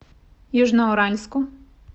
южноуральску